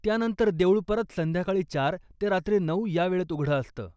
त्यानंतर, देऊळ परत संध्याकाळी चार ते रात्री नऊ यावेळेत उघडं असतं.